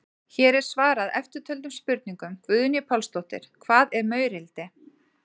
Hér er svarað eftirtöldum spurningum: Guðný Pálsdóttir: Hvað er maurildi?